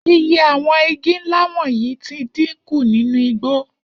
Iye àwo̩n igi ńlá wò̩nyìí ti dínkù nínú igbó